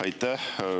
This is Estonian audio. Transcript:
Aitäh!